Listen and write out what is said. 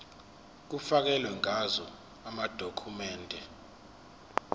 kufakelwe ngazo amadokhumende